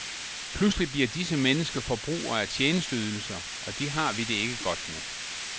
Pludselig bliver disse mennesker forbrugere af tjenesteydelser, og det har vi det ikke godt med.